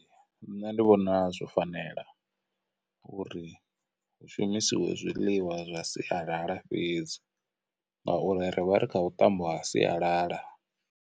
Nṋe ndi vhona zwo fanela uri hu shumisiwe zwiḽiwa zwa sialala fhedzi ngauri rivha ri kha vhuṱambo ha sialala.